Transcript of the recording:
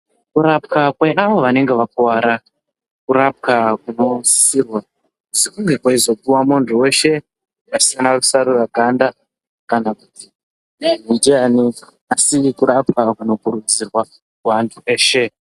Kurapwe kweavo vanenge vakuwara kurapwa kunosisirwa kweizopuwa muntu weshe pasina rusarura ganda kana kuti kunokurudzirwa kuantu eshe.